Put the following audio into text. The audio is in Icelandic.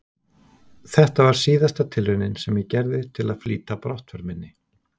Þetta var síðasta tilraunin sem ég gerði til að flýta brottför minni.